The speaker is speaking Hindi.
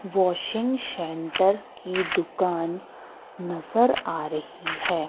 वाशिंग सेंटर की दुकान नजर आ रही है।